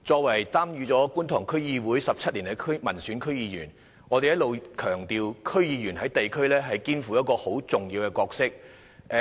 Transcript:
我在觀塘區議會已擔任民選區議員17年，我們一直強調區議員在地區上肩負重要角色。